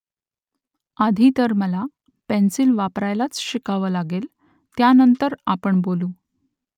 आधी तर मला पेन्सिल वापरायलाच शिकावं लागेल त्यानंतर आपण बोलू